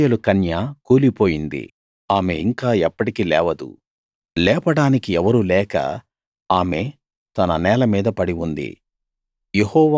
ఇశ్రాయేలు కన్య కూలిపోయింది ఆమె ఇంకా ఎప్పటికీ లేవదు లేపడానికి ఎవరూ లేక ఆమె తన నేల మీద పడి ఉంది